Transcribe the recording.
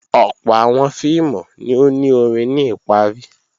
Ọ̀pọ̀ àwọn fíìmù ni ó ni orin ní ìparí